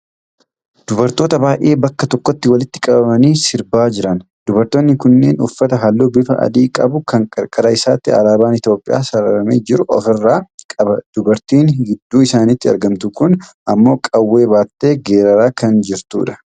Dubartoota baay'ee bakka tokkotti walitti qabamanii sirbaa jiran. Dubartoonni kunneen uffata halluu bifa adii qabu kan qarqara isaatti alaabaan Itoophiyaa sararamee jiru ofirraa qaba. Dubartiin gidduu isaaniitti argamtu kun ammoo qawwee baattee geeraraa kan jirtudha.